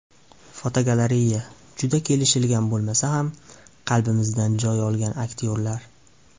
Fotogalereya: Juda kelishgan bo‘lmasa ham, qalbimizdan joy olgan aktyorlar.